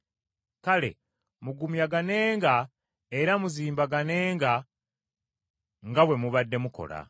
Kale mugumyaganenga era muzimbaganenga nga bwe mubadde mukola.